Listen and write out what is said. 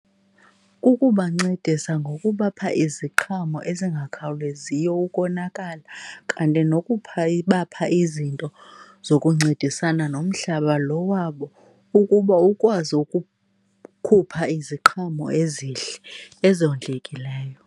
Kukubancedisa ngokubapha iziqhamo ezingakhawuleziyo ukonakala kanti nokupha , ubapha izinto zokuncedisana nomhlaba loo wabo ukuba ukwazi ukukhupha iziqhamo ezihle ezondlekileyo.